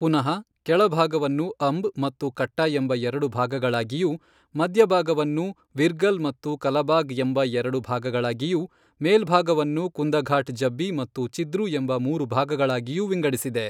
ಪುನಃ ಕೆಳಭಾಗವನ್ನು ಅಂಬ್ ಮತ್ತು ಕಟ್ಟ ಎಂಬ ಎರಡು ಭಾಗಗಳಾಗಿಯೂ ಮಧ್ಯಭಾಗವನ್ನು ವಿರ್ಗಲ್ ಮತ್ತು ಕಲಬಾಗ್ ಎಂಬ ಎರಡು ಭಾಗಗಳಾಗಿಯೂ ಮೇಲ್ಭಾಗವನ್ನು ಕುಂದಫಾಟ್ ಜಬ್ಬಿ ಮತ್ತು ಚಿದ್ರು ಎಂಬ ಮೂರು ಭಾಗಗಳಾಗಿಯೂ ವಿಂಗಡಿಸಿದೆ.